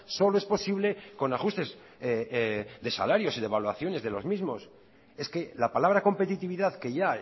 solo es posible con ajustes de salarios y devaluaciones de los mismos es que la palabra competitividad que ya